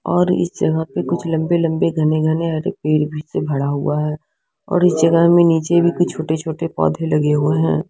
और इस जगह पे कुछ लंबे लंबे घने घने आधे पेड़ भी से भरा हुआ है और इस जगह में नीचे भी कुछ छोटे छोटे पौधे लगे हुए हैं।